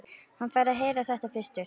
Hann fær að heyra þetta fyrstur.